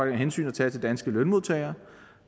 et hensyn at tage til danske lønmodtagere